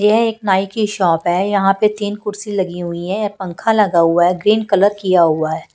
यह एक नाई की शॉप है यहां पे तीन कुर्सी लगी हुई है पंखा लगा हुआ है ग्रीन कलर किया हुआ है।